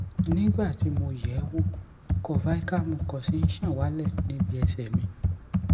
nih ìgbà tí mo yẹ ẹ wò curvical mucus nh ṣàn wálẹ níbi ẹsẹ mi